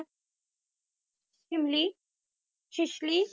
ਥਿਮਲੀ ਸ਼ਿਸ਼ਕਲੀ